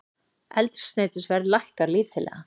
Eldsneytisverð lækkar lítillega